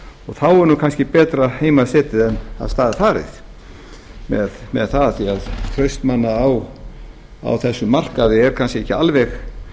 þá er nú kannski betur heima setið en af stað farið með það af því að traust manna á þessum markaði er kannski ekki alveg